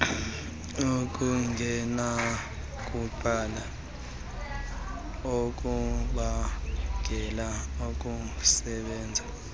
okungenakunqandwa okubangelwa kukusebenza